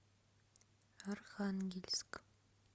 архангельск